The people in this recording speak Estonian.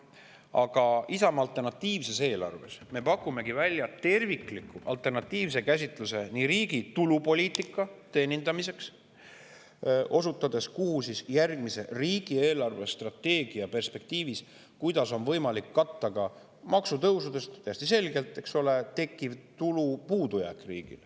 Aga Isamaa alternatiivses eelarves me pakumegi esiteks välja tervikliku alternatiivse käsitluse riigi poliitika teenindamiseks, osutades järgmise riigi eelarvestrateegia perspektiivis, kuidas on riigil võimalik katta ka maksutõusudest täiesti selgelt tekkiv tulu puudujääk.